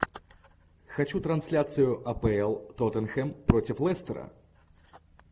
хочу трансляцию апл тоттенхэм против лестера